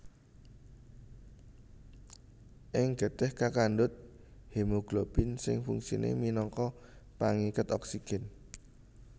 Ing getih kakandhut hemoglobin sing fungsiné minangka pangiket oksigèn